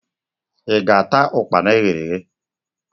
I ga-ata ukpana eghere eghe?